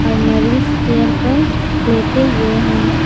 और मरीज चेयर पर लेटे हुए हैं।